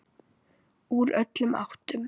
Úr öllum áttum.